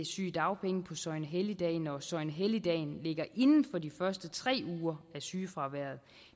sygedagpenge på søgnehelligdage når søgnehelligdagen ligger inden for de første tre uger af sygefraværet